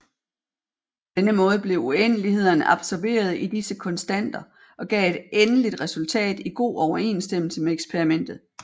På denne måde blev uendelighederne absorberet i disse konstanter og gav et endeligt resultat i god overensstemmelse med eksperimentet